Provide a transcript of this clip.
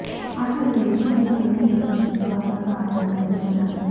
అసలు ఈ విషయంలో ఏం జరుగుతుందో అర్ధం కావటం లేదు జనాలకి